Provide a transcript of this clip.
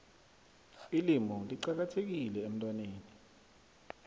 ilimu licakathekile emntwaneni